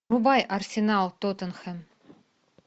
врубай арсенал тоттенхэм